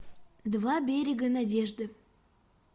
два берега надежды